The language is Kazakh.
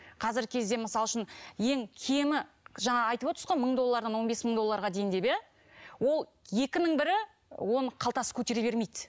қазіргі кезде мысал үшін ең кемі жаңа айтып отырсыз ғой мың доллардан он быс мың долларға дейін деп иә ол екінің бірі оны қалтасы көтере бермейді